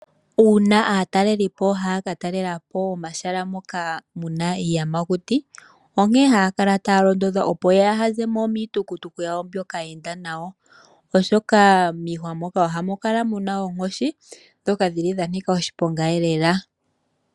Uuna aateleli po haya ka talela po omahala moka mu na iiyamakuti, ohaya kala taya londodhwa opo yaa ha ze mo miitukutuku yawo mbyoka ya enda nayo oshoka miihwa moka ohamu kala mu na oonkoshi dhoka hadhi kala dha nika oshiponga lela .